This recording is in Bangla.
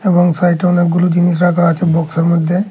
এবং সাইটে অনেকগুলো জিনিস রাখা আছে বক্সের মধ্যে।